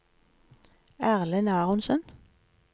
Erlend Aronsen